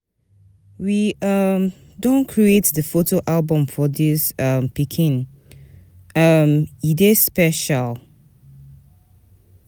We um don create di photo album for dis um pikin, um e dey special.